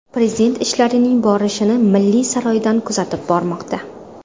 Prezident ishlarning borishini Milliy saroydan kuzatib bormoqda.